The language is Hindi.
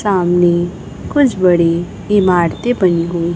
सामने कुछ बडी इमारतें बनी हुई--